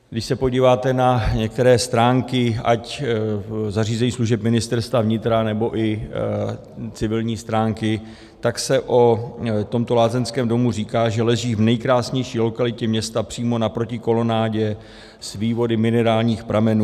Když se podíváte na některé stránky ať zařízení služeb Ministerstva vnitra, nebo i civilní stránky, tak se o tomto lázeňském domu říká, že leží v nejkrásnější lokalitě města, přímo naproti kolonádě s vývody minerálních pramenů.